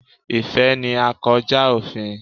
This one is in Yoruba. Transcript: Ìfẹ́ ni à kọ́ já òfin.